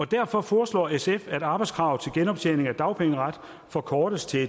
derfor foreslår sf at arbejdskravet til genoptjening af dagpengeret forkortes til